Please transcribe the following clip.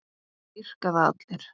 Það dýrka það allir.